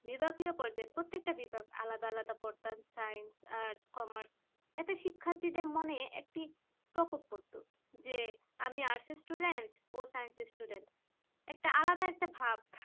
বিভাগীয় পর্যায়ে প্রত্যেকটা বিভাগ আলাদা আলাদা পড়তাম science arts commerce তাতে শিক্ষার্থীদের মনে একটি প্রকোপ পরতো যে আমি arts student ও science student একটা আলাদা একটা ভাব